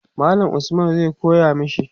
mallam Usman zai koya mashi